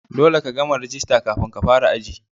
Dolle ka gama rajista kafin ka fara aji.